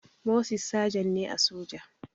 Moses sagen ne a soja